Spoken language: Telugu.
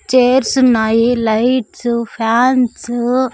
చేర్సున్నాయి లైట్సు ఫ్యాన్సు --